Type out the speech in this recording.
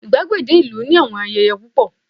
igbagede ìlú ni àwọn ayẹyẹ púpọ